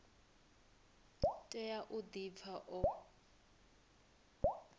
tea u di pfa o